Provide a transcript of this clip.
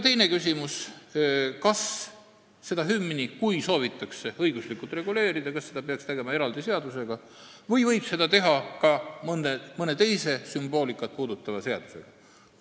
Teine küsimus: kui hümni soovitakse õiguslikult reguleerida, kas seda peaks tegema eraldi seadusega või võiks seda teha ka mõne teise sümboolikat käsitleva seadusega?